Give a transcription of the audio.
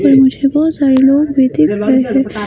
पर मुझे बहुत सारे लोग भी देख रहे हैं।